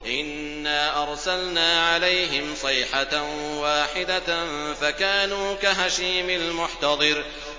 إِنَّا أَرْسَلْنَا عَلَيْهِمْ صَيْحَةً وَاحِدَةً فَكَانُوا كَهَشِيمِ الْمُحْتَظِرِ